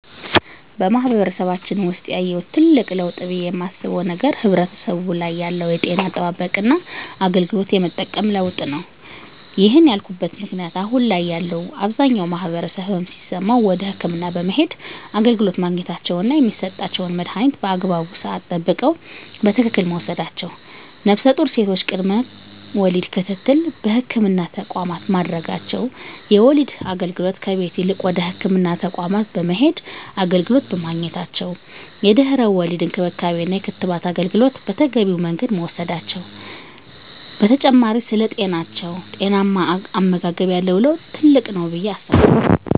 በማህበረሰባችን ውሰጥ ያየሁት ትልቅ ለውጥ ብየ የማስበው ነገር ማህበረሰቡ ላይ ያለው የጤና አጠባበቅና አገልግሎት የመጠቀም ለውጥ ነው። ይህን ያልኩበት ምክንያት አሁን ላይ ያለው አብዛኛው ማህበረሰብ ህመም ሲሰማው ወደ ህክምና በመሄድ አገልግሎት ማግኘታቸውና የሚሰጣቸውን መድሀኒት በአግባቡ ስዓት ጠብቀው በትክክል መውሰዳቸው ነፍሰጡር ሴቶች ቅድመ ወሊድ ክትትል በህክምና ተቋማት ማድረጋቸው የወሊድ አገልግሎት ከቤት ይልቅ ወደ ህክምና ተቋማት በመሄድ አገልግሎት በማግኘታቸው የድህረ ወሊድ እንክብካቤና የክትባት አገልግሎት በተገቢው መንገድ መውሰድ መቻላቸው በተጨማሪ ስለ ጤናማ አመጋገብ ያለው ለውጥ ትልቅ ነው ብየ አስባለሁ።